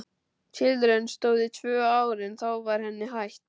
Tilraunin stóð í tvö ár en þá var henni hætt.